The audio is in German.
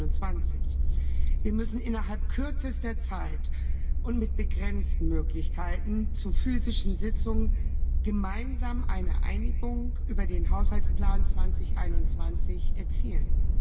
2021. Wir müssen innerhalb kürzester Zeit und mit begrenzten Möglichkeiten zu physischen Sitzungen gemeinsam eine Einigung über den Haushaltsplan 2021 erzielen.